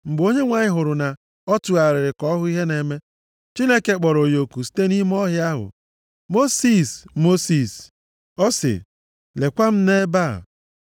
Mgbe Onyenwe anyị hụrụ na ọ tụgharịrị ka ọ hụ ihe na-eme, Chineke kpọrọ ya oku site nʼime ọhịa ahụ, “Mosis! Mosis!” Ọ sị, “Lekwa m nʼebe a.”